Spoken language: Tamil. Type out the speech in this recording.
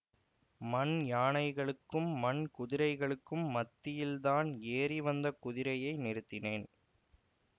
மண் யானைகளுக்கும் மண் குதிரைகளுக்கும் மத்தியில் தான் ஏறிவந்த குதிரையை நிறுத்தினான்